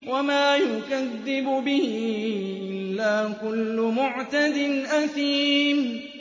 وَمَا يُكَذِّبُ بِهِ إِلَّا كُلُّ مُعْتَدٍ أَثِيمٍ